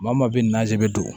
Maa maa bɛ naze bɛ don